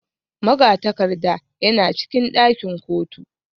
Magatakarda yana cikin ɗakin kotu